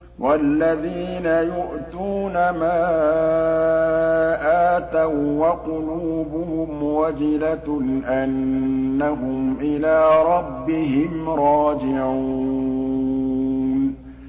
وَالَّذِينَ يُؤْتُونَ مَا آتَوا وَّقُلُوبُهُمْ وَجِلَةٌ أَنَّهُمْ إِلَىٰ رَبِّهِمْ رَاجِعُونَ